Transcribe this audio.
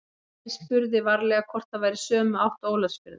Emil spurði varlega hvort það væri í sömu átt og Ólafsfjörður.